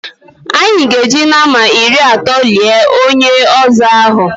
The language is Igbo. Anyị ga-eji nama iri atọ lie onye ọzọ ahụ.